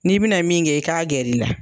N'i bɛna min kɛ i k'a gɛr'i la.